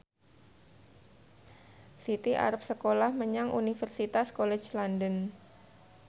Siti arep sekolah menyang Universitas College London